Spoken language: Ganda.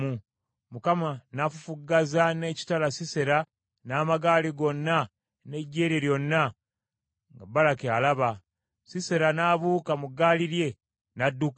Mukama n’afufuggaza n’ekitala Sisera n’amagaali gonna n’eggye lye lyonna nga Baraki alaba; Sisera n’abuuka mu ggaali lye, n’adduka.